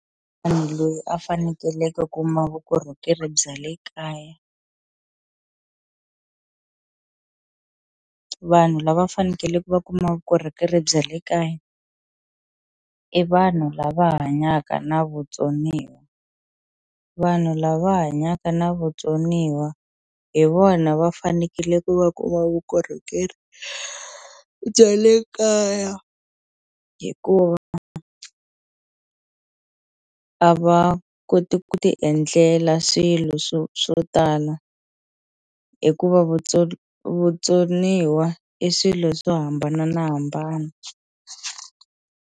Loyi a fanekele ku kuma vukorhokeri bya le kaya vanhu lava va fanekele va kuma vukorhokeri bya le kaya i vanhu lava hanyaka na vutsoniwa vanhu lava hanyaka na vutsoniwa hi vona va fanekele ku va kuma vukorhokeri bya le kaya hikuva a va koti ku ti endlela swilo swo swo tala hikuva vutsoniwa i swilo swo hambananahambana.